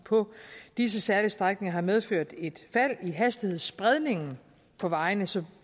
på disse særlige strækninger har medført et fald i hastighedsspredningen på vejene så